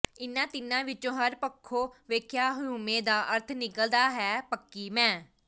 ਇਨ੍ਹਾਂ ਤਿੰਨਾਂ ਵਿੱਚੋਂ ਹਰ ਪੱਖੋਂ ਵੇਖਿਆਂ ਹਉਮੈਂ ਦਾ ਅਰਥ ਨਿਕਲਦਾ ਹੈ ਪੱਕੀ ਮੈਂ